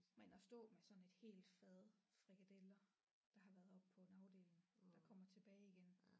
Men at stå med sådan et helt fad frikadeller der har været oppe på en afdeling der kommer tilbage igen